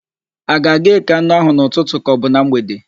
A ga-aga ékè anụ áhụ̀ n'ụtụtụ kaọbụ na mgbede?